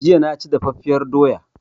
Jiya na ci daffafiyar doya